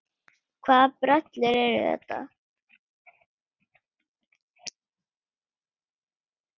Hvaða brellur eru þetta?